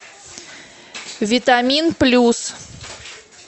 витамин плюс